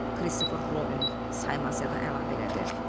Christopher Robin saymazca əlavə elədi.